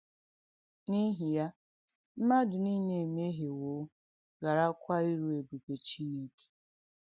N’ìhì ya, “mmadù nìle emehìewo, g̀haràkwa irú èbùbè Chìnèkè.”